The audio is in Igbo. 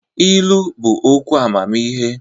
Ilu bụ okwu amamihe.